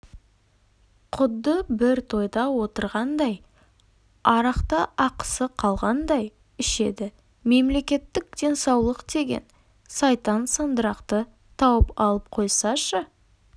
құдды бір тойда отырғандай арақта ақысы қалғандай ішеді мемлекеттік денсаулық деген сайтан сандырақты тауып алып қойсашы